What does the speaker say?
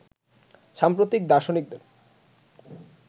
সাম্প্রতিক দার্শনিকদের